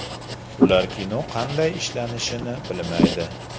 Ular kino qanday ishlanishini bilmaydi.